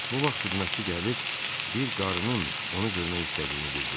Bu vaxt xidmətçi gəlib bir qarın onun onu görmək istədiyini bildirdi.